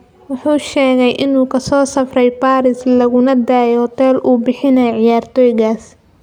Wuxuu sheegay inuu ka soo safray Paris laguna deggay hoteel oo uu bixinayay ciyaartoygaas.